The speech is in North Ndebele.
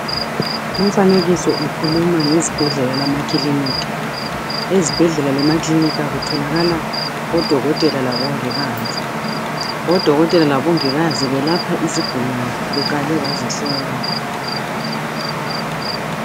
Lumfanekiso ukhuluma ngezibhedlela lamakilinika. Ezibhedlela lemakilinika kutholakala odokotela labongikazi. Odokotela labongikazi belapha izigulane beqale bazihlola.